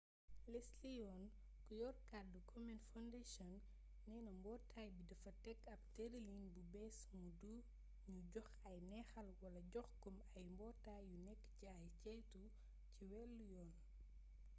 leslie aun ku yor kaddu komen foundation neena mbootaay bi dafa teg ab tërëlin bu bees muy du nu jox ay neexal wala jox kom ay mbootaay yu nekk ci ay ceytu ci wàllu yoon